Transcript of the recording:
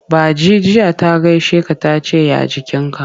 Ba ji jiya ta gaishe ka ta ce ya jikinka.